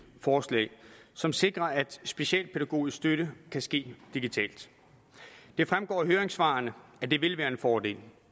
forslag som sikrer at specialpædagogisk støtte kan ske digitalt det fremgår af høringssvarene at det vil være en fordel